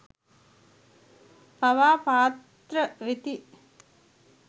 පවා පාත්‍ර වෙති.